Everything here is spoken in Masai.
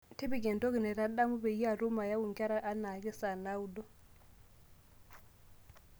tipika entoki naitadamu peyie atum ayau nkera enaake saa naudo